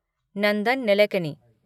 Nandan Nilekani